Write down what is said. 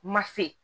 Ma se